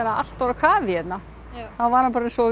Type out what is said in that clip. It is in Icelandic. allt á kafi hérna þá var hann bara eins og